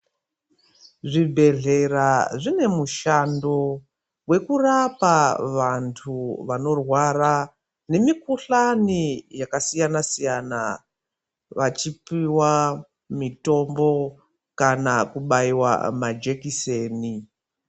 Zvibhedhlera zvinemushando wekurapa vantu vanorwara ngemukuhlani yakasiyana siyana vachipuwa mitombo kana kubaiwa majekiseni.